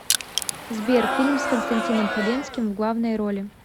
сбер фильм с константином хабенским в главной роли